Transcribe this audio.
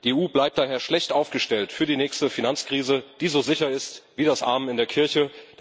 Die EU bleibt daher schlecht aufgestellt für die nächste Finanzkrise, die so sicher ist wie das Amen in der Kirche.